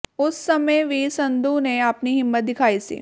ਉਸ ਸਮੇਂ ਵੀ ਸੰਧੂ ਨੇ ਆਪਣੀ ਹਿੰਮਤ ਦਿਖਾਈ ਸੀ